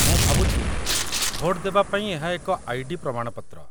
ମୁଁ ଭାବୁଛି ଭୋଟ ଦେବାପାଇଁ ଏହା ଏକ ଆଇ.ଡି. ପ୍ରମାଣପତ୍ର